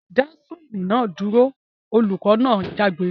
Dá swing náà dúro! olùkọ́ náà jágbe